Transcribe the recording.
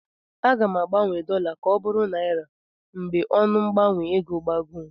Aga m agbanwe dọla m ka ọ bụrụ naịra mgbe ọnụ mgbanwe ego gbagoo.